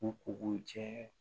U k'u cɛ